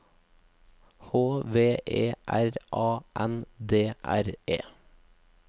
H V E R A N D R E